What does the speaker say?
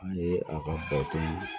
An ye a ka baton